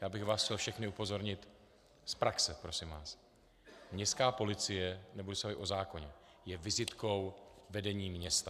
Já bych vás chtěl všechny upozornit z praxe, prosím vás, městská policie - nebudu se bavit o zákoně - je vizitkou vedení města.